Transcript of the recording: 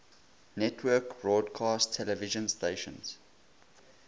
network broadcast television stations